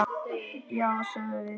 Já, sögðum við.